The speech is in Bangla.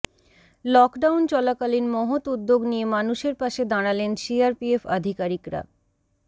লকডাউন চলাকালীন মহৎ উদ্যোগ নিয়ে মানুষের পাশে দাঁড়ালেন সি আর পি এফ আধিকারিক রা